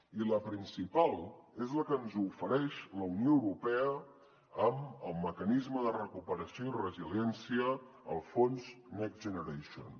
i la principal és la que ens ofereix la unió europea amb el mecanisme de recuperació i resiliència el fons next generation